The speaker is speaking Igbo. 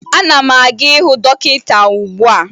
Ana m aga ịhụ dọkịta ugbua